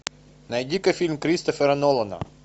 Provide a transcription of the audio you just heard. найди ка фильм кристофера нолана